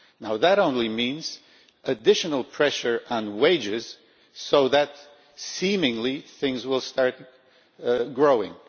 Now that only means additional pressure on wages so that seemingly things will start growing.